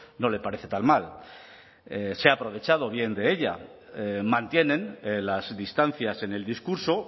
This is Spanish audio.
no le parece tan mal se ha aprovechado bien de ella mantienen las distancias en el discurso